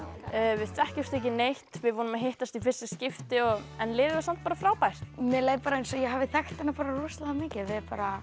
við þekkjumst ekki neitt við vorum að hittast í fyrsta skipti en liðið var samt bara frábært mér leið eins og ég hafi þekkt hana rosalega mikið við